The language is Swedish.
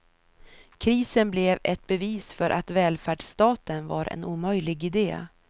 Krisen blir ett bevis för att välfärdsstaten var en omöjlig ide.